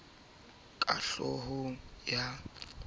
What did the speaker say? e duma ka hlohong ya